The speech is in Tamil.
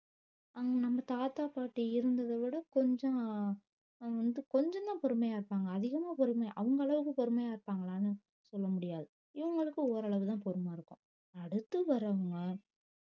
அங்க நம்ம தாத்தா பாட்டி இருந்தத விட கொஞ்ச வந்து கொஞ்ச தான் பொறுமையா இருப்பாங்க அதிகமா பொறுமை அவுங்களவுக்கு பொறுமையா இருப்பாங்லான்னு சொல்ல முடியாது இவுங்களுக்கு ஓர் அளவு தான் பொறுமை இருக்கும் அடுத்து வரவங்க